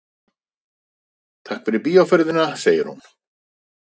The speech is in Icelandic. Takk fyrir bíóferðina, segir hún.